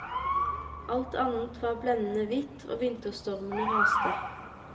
Alt annet var blendene hvitt og vinterstormene raste.